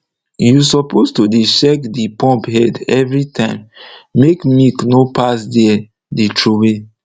u suppose to dey check de pump head everytime make milk nor pass there dey troway